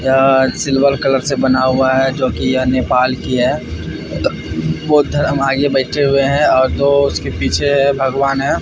क्या silver colour से बना हुआ है जो कि यह नेपाल की है बौद्ध धर्म आगे बैठे हुए हैं और दो उसके पीछे है भगवान है।